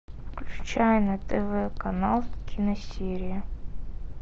включай на тв канал киносерия